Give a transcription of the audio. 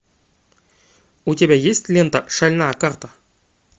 у тебя есть лента шальная карта